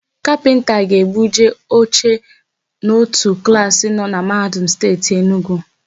Kapịnta ga-ebuje oche n'ótù klaasị nọ na Mahadum Steeti Enugwu.